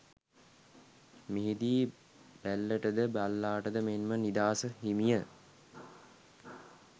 මෙහි දී බැල්ලට ද බල්ලාට මෙන් ම නිදහස හිමි ය